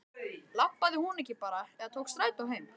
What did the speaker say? Labbaði hún ekki bara eða tók strætó heim?